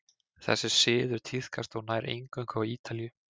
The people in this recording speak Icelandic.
þessi siður tíðkaðist þó nær eingöngu á ítalíu